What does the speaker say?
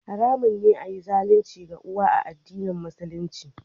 Haramun ne a yi zalunci ga uwa a addinin Musulunci